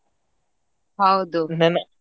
ಹೌದು .